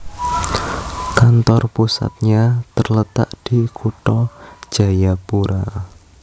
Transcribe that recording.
Kantor pusatnya terletak di Kutha Jayapura